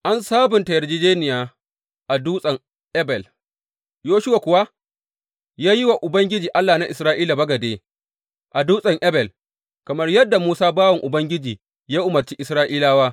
An sabunta yarjejjeniya a Dutsen Ebal Yoshuwa kuwa ya yi wa Ubangiji, Allah na Isra’ila bagade a Dutsen Ebal, kamar yadda Musa bawan Ubangiji ya umarci Isra’ilawa.